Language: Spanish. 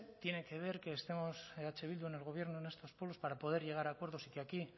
tiene que ver que estemos eh bildu en el gobierno en estos pueblos para poder llegar a acuerdos y que aquí